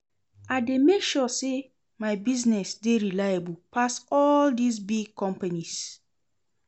I dey make sure sey my business dey reliable pass all dese big companies.